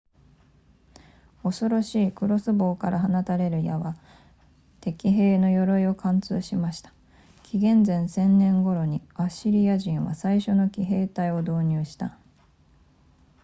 恐ろしいクロスボウから放たれる矢は敵兵の鎧を貫通しました紀元前1000年頃にアッシリア人は最初の騎兵隊を導入した